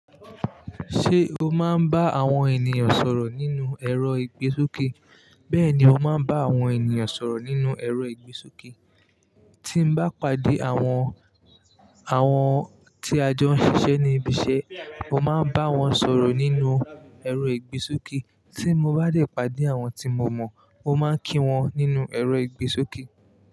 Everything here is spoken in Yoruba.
Ṣé o máa ń bá àwọn ènìyàn sọ̀rọ̀ nínú ẹ̀rọ ìgbésókè? Bẹ́ẹ̀ni, mo máa ń bá àwọn ènìyàn sọ̀rọ̀ nínú ẹ̀rọ ìgbésókè. Tí mo bá pàdé àwọn, àwọn tí a jọ ń ṣiṣẹ́ ní ibiṣẹ́, mo máa ń bá wọn sọ̀rọ̀ nínú ẹ̀rọ ìgbésókè. Tí mo bá dẹ̀ pàdé àwọn tí mo mọ̀, mo máa ń kí wọn nínú ẹ̀rọ ìgbésókè.